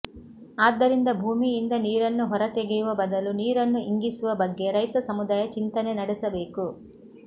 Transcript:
ಆದ್ದರಿಂದ ಭೂಮಿಯಿಂದ ನೀರನ್ನು ಹೊರತೆಗೆಯುವ ಬದಲು ನೀರನ್ನು ಇಂಗಿಸುವ ಬಗ್ಗೆ ರೈತ ಸಮುದಾಯ ಚಿಂತನೆ ನಡೆಸಬೇಕು